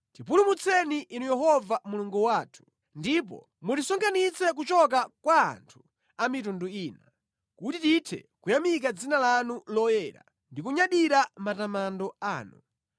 Tipulumutseni Inu Yehova Mulungu wathu, ndipo mutisonkhanitse kuchoka kwa anthu a mitundu ina kuti tithe kuyamika dzina lanu loyera ndi kunyadira mʼmatamando anu.